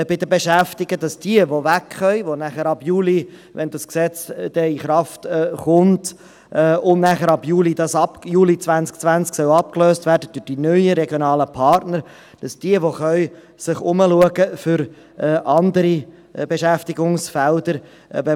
Jene, die wegkönnen – die nachher, wenn das Gesetz ab Juli 2020 in Kraft tritt, durch die neuen regionalen Partner abgelöst werden sollen – schauen sich für andere Beschäftigungsfelder um.